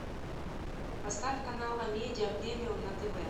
поставь канал амедия премиум на тв